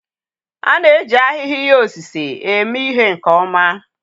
A na-eji ahịhịa ihe osise eme ihe nke ọma